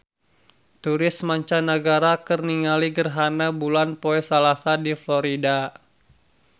Turis mancanagara keur ningali gerhana bulan poe Salasa di Florida